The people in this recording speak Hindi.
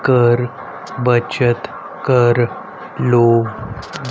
कर बचत कर लो।